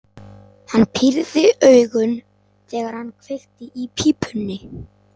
Hann pírði augun, þegar hann kveikti í pípunni.